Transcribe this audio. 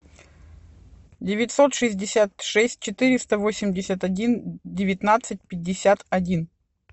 девятьсот шестьдесят шесть четыреста восемьдесят один девятнадцать пятьдесят один